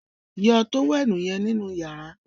yọ tówẹ́ẹ̀nù yen nínú yàrá